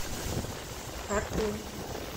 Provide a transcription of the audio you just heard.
хартум